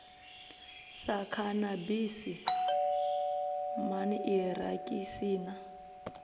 sa khanabisi man irakisi na